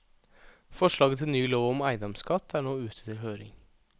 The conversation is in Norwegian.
Forslaget til ny lov om eiendomsskatt er nå ute til høring.